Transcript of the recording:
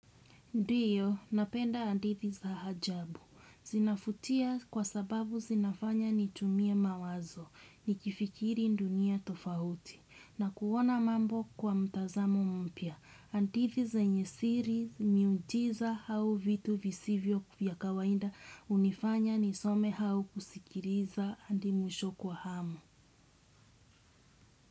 Ndiyo, napenda handithi za hajabu. Zinafutia kwa sababu zinafanya nitumie mawazo, nikifikiri dunia tofauti, na kuona mambo kwa mtazamo mpya. handithi zenye siri miujiza hau vitu visivyo vya kawaida hunifanya nisome hau kusikiriza hadi mwisho kwa hamu.